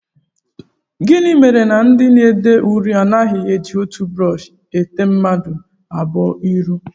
Gịnị mere na ndị na-ede uri anaghị eji otu brọọshị ete mmadụ abụọ uri?